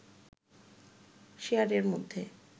শেয়ারের মধ্যে